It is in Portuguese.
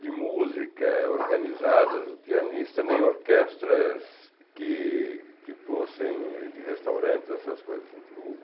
de música organizadas, pianista, nem orquestras que que fossem de restaurantes, essas coisas eu digo.